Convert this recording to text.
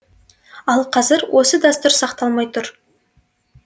ал қазір осы дәстүр сақталмай тұр